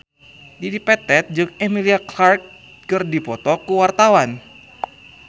Dedi Petet jeung Emilia Clarke keur dipoto ku wartawan